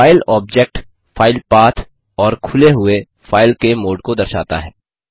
file object file path और खुले हुए फाइल के मोड को दर्शाता है